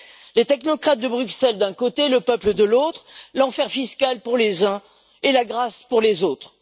Les technocrates de Bruxelles d'un côté, le peuple de l'autre, l'enfer fiscal pour les uns, et la grâce pour les autres.